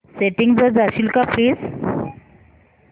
settings वर जाशील का प्लीज